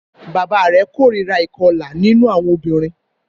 Bàbá rẹ̀ kórìíra ìkọlà nínú àwọn obìnrin